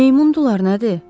Meymun dullar nədir?